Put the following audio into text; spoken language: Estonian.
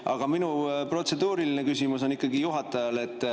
Aga minu protseduuriline küsimus on ikkagi juhatajale.